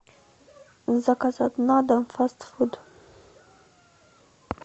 заказать на дом фаст фуд